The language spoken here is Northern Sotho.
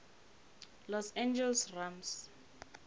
los angeles rams